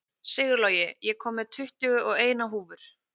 Sigurlogi, ég kom með tuttugu og eina húfur!